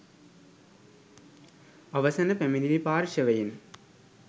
අවසන පැමිණිලි පාර්ශ්වයෙන්